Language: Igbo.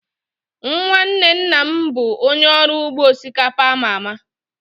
Nwanne nna m bụ onye ọrụ ugbo osikapa a ma ama